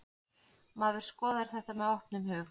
Maður skoðar þetta með opnum hug.